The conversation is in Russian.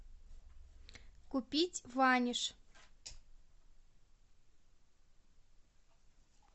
купить ваниш